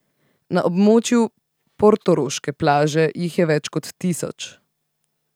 Na območju portoroške plaže jih je več kot tisoč.